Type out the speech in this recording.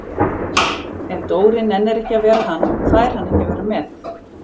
Ef Dóri nennir ekki að vera hann, fær hann ekki að vera með